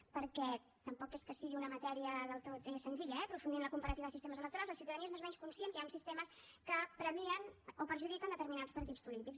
perquè tampoc és que sigui una matèria del tot senzilla eh aprofundir en la comparativa de sistemes electorals la ciutadania és més o menys conscient que hi ha uns sistemes que premien o perjudiquen determinats partís polítics